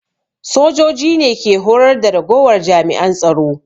Sojoji ne ke horar da ragowar jami'an tsaro